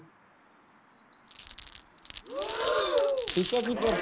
ਠੀਕ ਹੈ ਜੀ ਫ਼ੇਰ